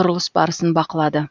құрылыс барысын бақылады